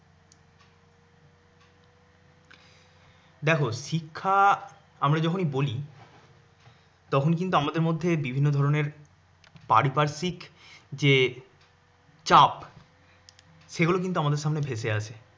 দেখো শিক্ষা আমরা যখনই বলি তখন কিন্তু আমাদের মধ্যে বিভিন্ন ধরনের পারিপার্শ্বিক যে চাপ সেগুলো কিন্তু আমাদের সামনে ভেসে আসে।